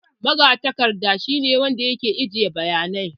Magatakarda shi ne wanda yake ajiye bayanai